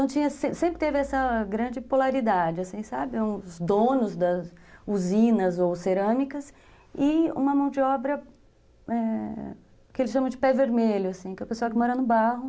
sempre teve essa grande polaridade, assim, sabe, os donos das usinas ou cerâmicas e uma mão de obra, é... Que eles chamam de pé vermelho, assim, que é a pessoa que mora no barro,